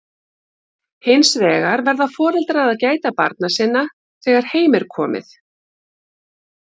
Hins vegar verða foreldrar að gæta barna sinna þegar heim er komið.